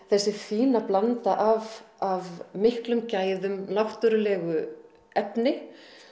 þessi fína blanda af miklum gæðum náttúrulegu efni